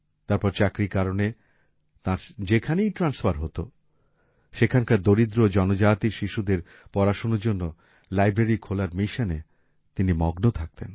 তারপর চাকরির কারণে তাঁর যেখানেই ট্রান্সফার হত সেখানকার দরিদ্র ও জনজাতি শিশুদের পড়াশোনার জন্য লাইব্রেরি খোলার মিশনে তিনি মগ্ন থাকতেন